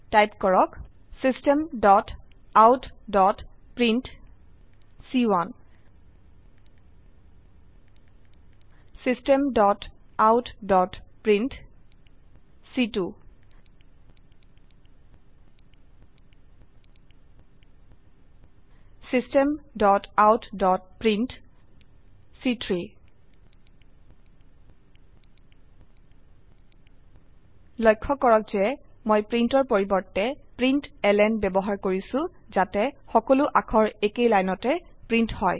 type কৰক systemoutপ্ৰিণ্ট systemoutপ্ৰিণ্ট systemoutপ্ৰিণ্ট লক্ষ্য কৰক যে মই printৰ পৰিবৰ্তে প্ৰিণ্টলন ব্যবহাৰ কৰিছো যাতে সকলো অাক্ষৰ একেই লাইনতে প্ৰিন্ট হয়